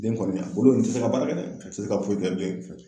Den kɔni a kolo in ti se ka baara kɛ dɛ a ti se ka foyi kɛ bilen.